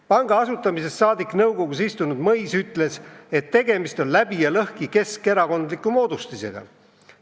Panga asutamisest saadik nõukogus istunud Mõis ütles, et tegemist on läbi ja lõhki keskerakondliku moodustisega.